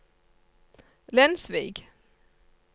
Lensvik